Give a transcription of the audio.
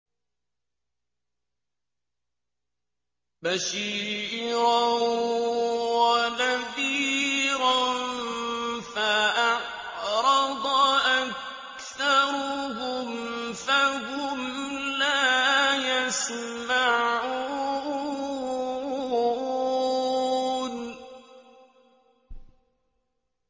بَشِيرًا وَنَذِيرًا فَأَعْرَضَ أَكْثَرُهُمْ فَهُمْ لَا يَسْمَعُونَ